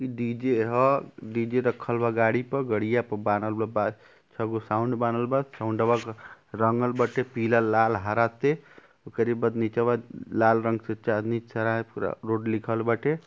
इ डी.जे. ह। डी.जे. रखल बा गाड़ी प। गड़िया प बांहल बा। बा छ गो साउन्ड बांहल बा। साउंडवा क रंगल बाटे पीला लाल हरा ते। ओकरी बाद नीचवा लाल रंग से चांदनी सरायपूरा रोड लिखल बाटे।